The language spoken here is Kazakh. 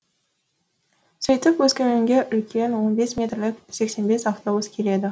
сөйтіп өскеменге үлкен он бес метрлік сексен бес автобус келеді